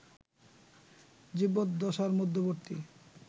জীবদ্দশার মধ্যবর্তী